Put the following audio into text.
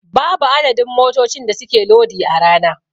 Babu adadin motocin da suke lodi a rana.